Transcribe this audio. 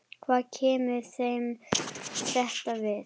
Hvað kemur þeim þetta við?